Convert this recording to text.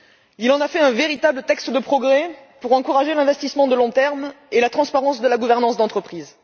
Il en a fait un véritable texte de progrès pour encourager l'investissement à long terme et la transparence de la gouvernance d'entreprise.